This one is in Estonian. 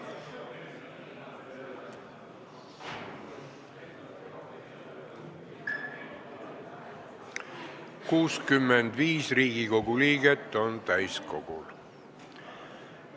Kohaloleku kontroll 65 Riigikogu liiget on täiskogul.